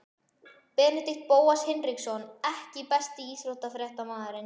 Benedikt Bóas Hinriksson EKKI besti íþróttafréttamaðurinn?